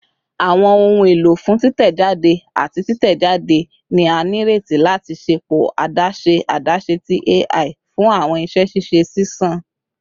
Awọn ohun elo fun titẹjade ati titẹjade ni a nireti lati ṣepọ adaṣe adaṣe ti AI fun awọn iṣẹ ṣiṣe ṣiṣan